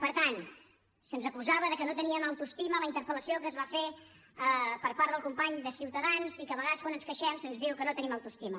per tant se’ns acusava que no teníem autoestima a la interpel·lació que es va fer per part del company de ciutadans i que a vegades quan ens queixem se’ns diu que no tenim autoestima